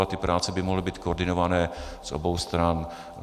A ty práce by mohly být koordinované z obou stran.